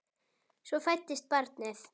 Svo fæddist barnið.